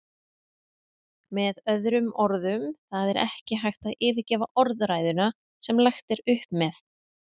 Með öðrum orðum, það er ekki hægt að yfirgefa orðræðuna sem lagt er upp með.